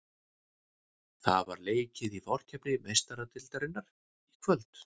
Það var leikið í forkeppni Meistaradeildarinnar í kvöld.